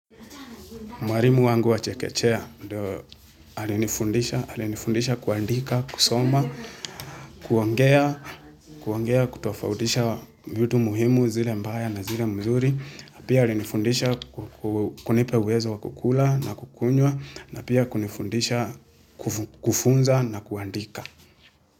Mwalimu wangu wa chekechea ndio alinifundisha kuandika, kusoma, kuongea, kutofautisha vitu muhimu zile mbaya na zile mzuri. Pia alinifundisha kunipa uwezo wa kukula na kukunwa napia kunifundisha kufunza na kuandika.